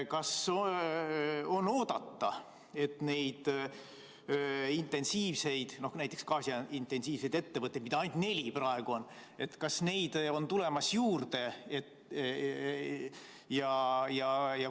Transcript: Kas on oodata, et neid intensiivseid, näiteks gaasi-intensiivseid ettevõtteid, mida praegu on ainult neli, on juurde tulemas?